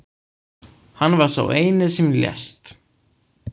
Hann var sá eini sem lést